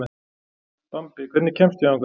Bambi, hvernig kemst ég þangað?